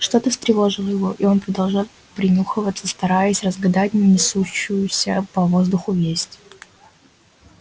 что то встревожило его и он продолжал принюхиваться стараясь разгадать несущуюся по воздуху весть